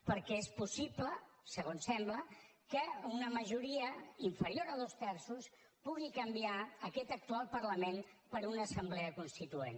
perquè és possible segons sembla que una majoria inferior a dos terços pugui canviar aquest actual parlament per una assemblea constituent